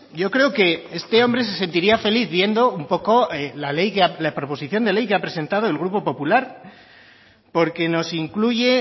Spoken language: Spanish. yo creo que este hombre se sentiría feliz viendo un poco la ley la proposición de ley que ha presentado el grupo popular porque nos incluye